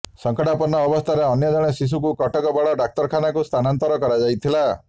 ସଙ୍କଟାପନ୍ନ ଅବସ୍ଥାରେ ଅନ୍ୟ ଜଣେ ଶିଶୁଙ୍କୁ କଟକ ବଡ଼ ଡାକ୍ତରଖାନାକୁ ସ୍ଥାନାନ୍ତର କରାଯାଇଥିଲା